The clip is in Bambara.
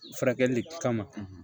Furakɛli le kama